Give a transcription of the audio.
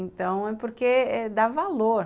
Então, é porque dá valor.